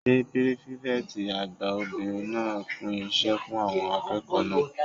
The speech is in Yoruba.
Ṣé pírífẹ̀tì àgbà obìnrin náà pín iṣẹ́ fún àwọn akẹ́kọ̀ọ́ náà?